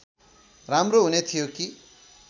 राम्रो हुने थियो कि